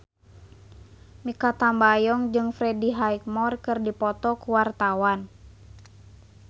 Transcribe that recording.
Mikha Tambayong jeung Freddie Highmore keur dipoto ku wartawan